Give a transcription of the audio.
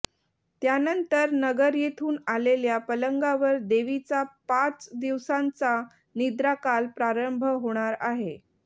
त्यानंतर नगर येथून आलेल्या पलंगावर देवीचा पाच दिवसांचा निद्राकाल प्रारंभ होणार आहे